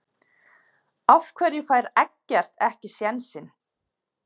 Af hverju fær Eggert ekki sénsinn?